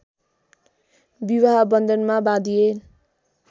विवाह बन्धनमा बाँधिए